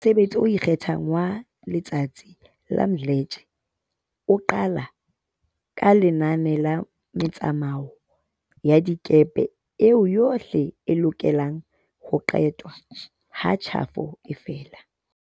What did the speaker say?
Mosebetsi o ikgethang wa letsatsi wa Mdletshe o qala ka lenane la metsamao ya dikepe eo yohle e lokelang ho qetwa ha tjhafo e fela.